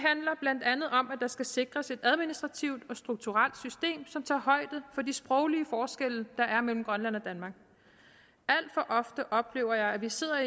blandt andet om at der skal sikres et administrativt og strukturelt system som tager højde for de sproglige forskelle der er mellem grønland og danmark alt for ofte oplever jeg at vi sidder